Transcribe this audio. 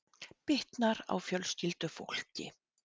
Bitnar á fjölskyldufólki